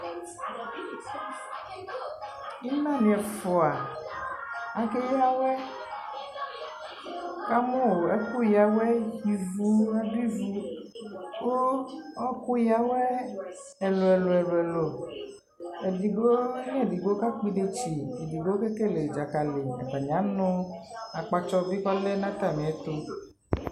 Ina nι ɛfʋa, ake ya awɛ, nι ka mʋ ɛkʋ ya awɛ, ivu, adʋ ivu, kʋ ɔɔkʋ ya awɛ ɛlʋ ɛlʋ ɛlʋ ɛlʋ Edigbo nʋ edigbo kakpɔ idetsi, edigbo ke kele dzakali Atanι anʋ akpatsɔ bι kʋ ɔlɛ nʋ atamι ɛtʋ